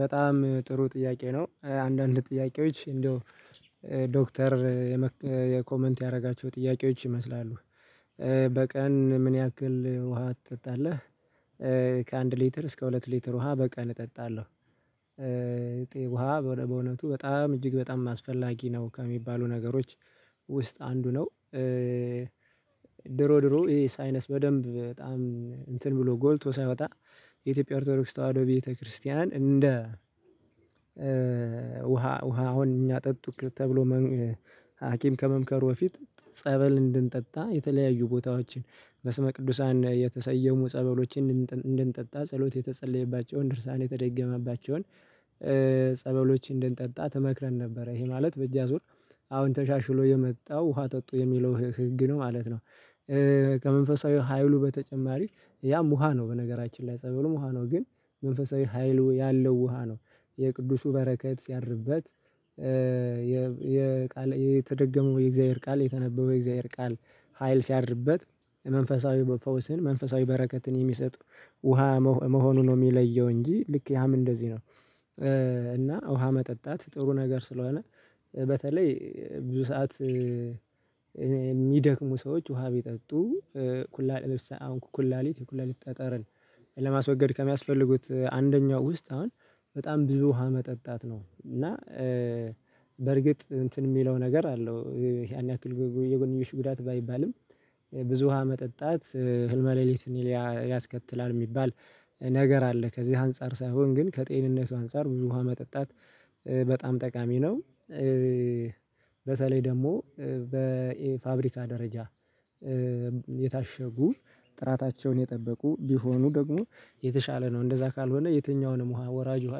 በጣም ጥሩ ጥያቄ ነው አንዳንድ ጥያቄዎች እንደው ዶክተር የኮመንት ያደረጋቸው ጥያቄዎች ይመስላሉ፤ በቀን ምን ያክል ውሃ ትጠጣለህ? ከአንድ ሊትር እስከ ሁለት ሊትር ውሃ በቀን እጠጣለሁ፤ ውሃ በእውነቱ በጣም እጅግ በጣም አስፈላጊ ነው ከሚባሉ ነገሮች ውስጥ አንዱ ነው፤ ድሮ ድሮ ይሄ ሳይነስ በደንብ በጣም እንትን ብሎ ጎልቶ ሳይወጣ የኢትዮጵያ ኦርቶዶክስ ተዋህዶ ቤተክርስቲያን እንደ ውሃ አሁን እኛ ጠጡት ተብሎ ሀኪም ከመምከሩ በፊት ጸበል እንድንጠጣ የተለያዩ ቦታዎችን በስመ ቅዱሳን የተሰየሙ ጸበሎችን እንድንጠጣ ጸሎት የተጸለየባቸውን ድርሳን የተደገመባቸውን ጸበሎችን እንድንጠጣ ትመክረን ነበረ ይሄ ማለት በእጅ አዙር አሁን ተሻሽሎ የመጣው ውሃ ጠጡ የሚለው ህግ ነው ማለት ነው፤ ከመንፈሳዊ ሀይሉ በተጨማሪ ያም ውሃ ነው በነገራችን ላይ ጸበሉ ውሃ ነው ግን መንፈሳዊ ሀይሉ ያለው ውሃ ነው የቅዱሱ በረከት ሲያድርበት የተደገመው የእግዚአብሔር ቃል የተነበበው የእግዚአብሔር ቃል ሀይል ሲያድርበት መንፈሳዊ ፈውስን መንፈሳዊ በረከትን የሚሰጡ ውሃ መሆኑ ነው የሚለየው እንጂ ልክ ያም እንደዚህ ነው እና ውሃ መጠጣት ጥሩ ነገር ስለሆነ በተለይ ብዙ ሰዓት የሚደክሙ ሰዎች ውሃ ቢጠጡ ኩላሊት አሁን ኩላሊት ኩላሊት ጠጠርን ለማስወገድ ከሚያስፈልጉት አንደኛው ውስጥ አሁን በጣም ብዙ ውሃ መጠጣት ነው እና በርግጥ እንትን የሚለው ነገር አለው ያን የጎንየሽ ጉዳት ባይባልም ብዙ ውሃ መጠጣት ህልመ ሌሊትን ያስከትላል የሚባል ነገር አለ ከዚህ አንፃር ሳይሆን ግን ከጤንነቱ አንፃር ውሃ መጠጣት በጣም ጠቃሚ ነው፤ በተለይ ደግሞ በፋብሪካ ደረጃ የታሸጉ ጥራታቸውን የጠበቁ ቢሆኑ ደግሞ የተሻለ ነው እንደዛ ካልሆነ የትኛውንም ውሃ ወራጅ ውሃ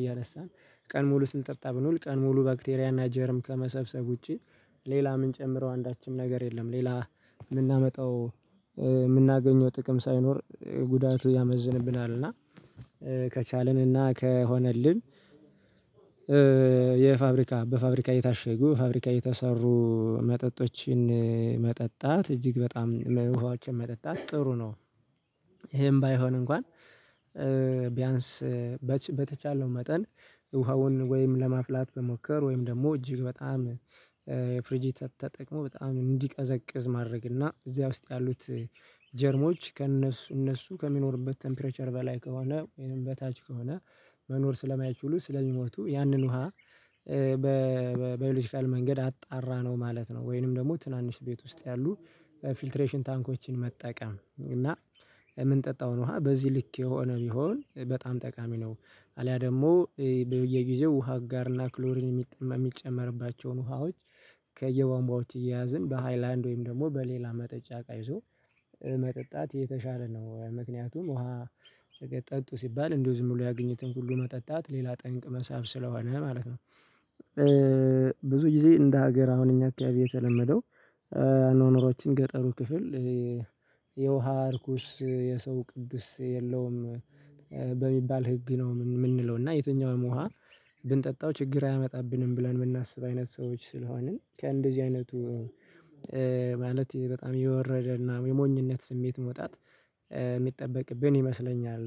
እያነሳን ቀን ሙሉ ስንጠጣ ብንውል ቀን ሙሉ ባክቴሪያ እና ጀርም ከመሰብሰብ ውጪ ሌላ ምን ጨምረው አንዳችም ነገር የለም ሌላ የምናመጣው የምናገኘው ጥቅም ሳይኖር ጉዳቱ ያመዝንብናል እና ከቻልን እና ከሆነልን የፋብሪካ በፋብሪካ የታሸጉ ፋብሪካ የተሰሩ መጠጦችን መጠጣት እጅግ በጣም ውሃዎችን መጠጣት ጥሩ ነው፤ ይሄም ባይሆን እንኳን ቢያንስ በተቻለው መጠን ውሃውን ወይም ለማፍላት መሞከር ወይም ደግሞ እጅግ በጣም ፍሪጂ ተጠቅሞ በጣም እንዲቀዘቅዝ ማድረግ እና እዚያ ውስጥ ያሉት ጀርሞች ከእነሱ እነሱ ከሚኖሩበት ቴምፕሬቸር በላይ ከሆነ ወይም በታች ከሆነ መኖር ስለማያችሉ ስለሚሞቱ ያንን ውሃ በባዮሎጂካል መንገድ አጣራ ነው ማለት ነው ወይንም ደግሞ ትናንሽ ቤት ውስጥ ያሉ ፊልትሬሽን ታንኮችን መጠቀም እና የምንጠጣውን ውሃ በዚህ ልክ የሆነ ቢሆን በጣም ጠቃሚ ነው አልያ ደግሞ በየጊዜው ውሃ አጋርና ክሎሪን የሚጠማ የሚጨመርባቸውን ውሃዎች ከየዋንባዎች እየያዝን በሃይላንድ ወይም ደግሞ በሌላ መጠጫ እቃ ይዞ መጠጣት የተሻለ ነው ምክንያቱም ውሃ ጠጡ ሲባል እንደው ዝም ብሎ ያገኙትን ሁሉ መጠጣት ሌላ ጠንቅ መሳብ ስለሆነ ማለት ነው ብዙ ጊዜ እንደ ሀገር አሁን እኛ አካባቢ የተለመደው አኗኗራዎችን ገጠሩ ክፍል የውሃ አርኩስ የሰው ቅዱስ የለውም በሚባል ህግ ነው የምንለው እና የትኛውም ውሃ ብንጠጣው ችግር አያመጣብንም ብለን የምናስብ አይነት ሰዎች ስለሆንን ከእንደዚህ አይነቱ ማለት በጣም የወረደ እና የሞኝነት ስሜት መውጣት የሚጠበቅብን ይመስለኛል